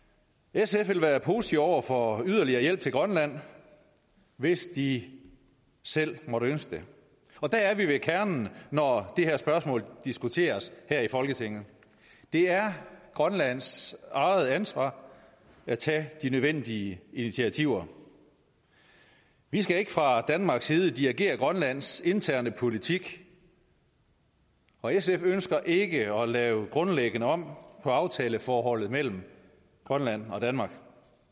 sf vil være positive over for yderligere hjælp til grønland hvis de selv måtte ønske det og der er vi ved kernen når det her spørgsmål diskuteres her i folketinget det er grønlands eget ansvar at tage de nødvendige initiativer vi skal ikke fra danmarks side dirigere grønlands interne politik og sf ønsker ikke at lave grundlæggende om på aftaleforholdet mellem grønland og danmark